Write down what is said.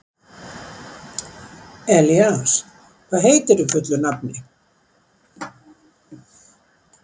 Elías, hvað heitir þú fullu nafni?